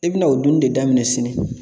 I bi na o dunni de daminɛ sini